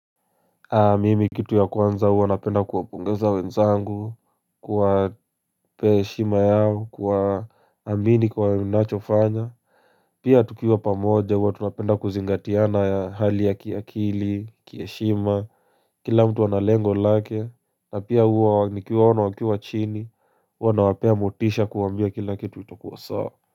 Mimi kitu ya kwanza huwa napenda kuwapongeza wenzangu kuwa pea heshima yao kuwa amini kwa ninacho fanya Pia tukiwa pamoja huwa tunapenda kuzingatiana ya hali ya kiakili Kiheshima Kila mtu analengo lake na pia huwa nikiwaona wakiwa chini Huwa nawapea motisha kuwaambia kila kitu itakuwa sawa.